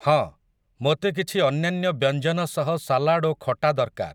ହଁ ମୋତେ କିଛି ଅନ୍ୟାନ୍ୟ ବ୍ୟଞ୍ଜନ ସହ ସାଲଡ଼୍ ଓ ଖଟା ଦରକାର ।